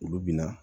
Olu bɛna